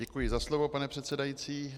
Děkuji za slovo, pane předsedající.